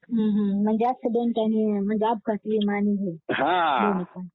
हं म्हणजे एक्सिडेंट अपघाती विमा आणि हे दोन्ही पण